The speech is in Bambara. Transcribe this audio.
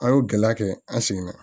An y'o gɛlɛya kɛ an seginna